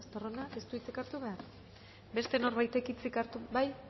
estarronak ez du hitzik hartu behar beste norbaitek hitzik hartu bai